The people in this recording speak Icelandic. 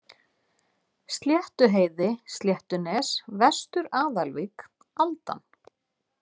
Sléttuheiði, Sléttunes, Vestur-Aðalvík, Aldan